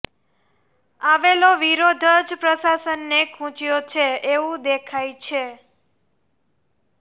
આવેલો વિરોધ જ પ્રશાસનને ખૂચ્યો છે એવું દેખાય છે